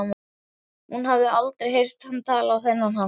Hún hafði aldrei heyrt hann tala á þennan hátt.